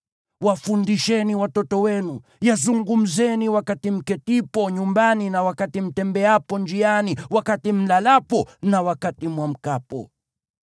Wafundisheni watoto wenu, yazungumzeni wakati mketipo nyumbani na wakati mtembeapo njiani, wakati mlalapo na wakati mwamkapo.